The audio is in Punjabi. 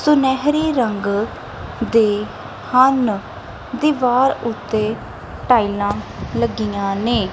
ਸੁਨਹਿਰੀ ਰੰਗ ਦੇ ਹਨ ਦੀਵਾਰ ਉੱਤੇ ਟਾਈਲਾਂ ਲੱਗੀਆਂ ਨੇ।